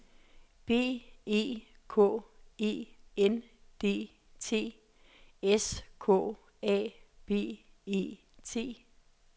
B E K E N D T S K A B E T